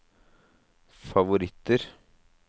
favoritter